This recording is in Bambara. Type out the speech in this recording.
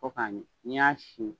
Fo k'a ɲɛ, n'i y'a sin